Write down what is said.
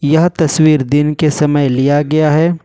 यह तस्वीर दिन के समय लिया गया है।